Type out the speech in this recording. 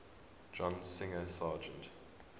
john singer sargent